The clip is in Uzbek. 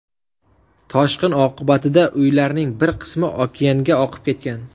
Toshqin oqibatida uylarning bir qismi okeanga oqib ketgan.